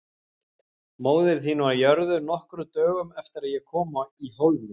Móðir mín var jörðuð nokkrum dögum eftir að ég kom í Hólminn.